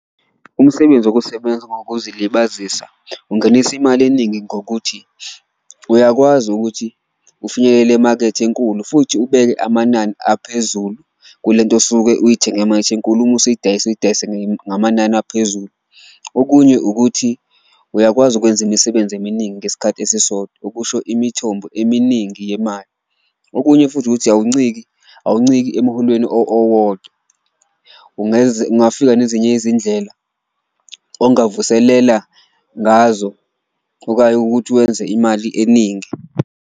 Umsebenzi wokusebenza ngokuzilibazisa ungenisa imali eningi ngokuthi uyakwazi ukuthi ufinyelele emakethe enkulu, futhi ubeke amanani aphezulu kule nto osuke uyithenge emakethe enkulu uma usuyidayisa uyidayise ngamanani aphezulu. Okunye ukuthi uyakwazi ukwenza imisebenzi eminingi ngesikhathi esisodwa, okusho imithombo eminingi yemali, okunye futhi ukuthi awunciki, awunciki emuholweni owodwa. Ungafika nezinye izindlela ongavuselela ngazo okanye ukuthi wenze imali eningi.